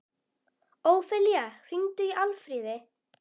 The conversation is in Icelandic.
Ófelía, hringdu í Alfríði.